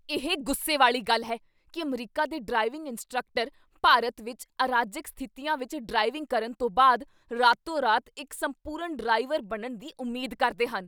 ਇਹ ਗੁੱਸੇ ਵਾਲੀ ਗੱਲ ਹੈ ਕੀ ਅਮਰੀਕਾ ਦੇ ਡਰਾਈਵਿੰਗ ਇੰਸਟ੍ਰਕਟਰ ਭਾਰਤ ਵਿੱਚ ਅਰਾਜਕ ਸਥਿਤੀਆਂ ਵਿੱਚ ਡਰਾਈਵਿੰਗ ਕਰਨ ਤੋਂ ਬਾਅਦ ਰਾਤੋ ਰਾਤ ਇੱਕ ਸੰਪੂਰਨ ਡਰਾਈਵਰ ਬਣਨ ਦੀ ਉਮੀਦ ਕਰਦੇ ਹਨ।